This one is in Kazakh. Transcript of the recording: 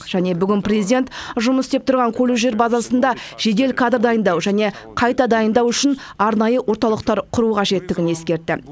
және бүгін президент жұмыс істеп тұрған колледждер базасында жедел кадр дайындау және қайта дайындау үшін арнайы орталықтар құру қажеттігін ескертті